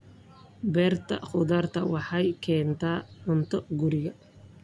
Beerta khudaarta waxay keentaa cunto guriga.